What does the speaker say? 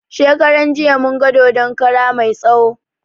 Shekaran jiya mun ga dodon kara mai tsawo